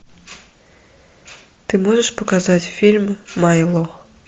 ты можешь показать фильм майло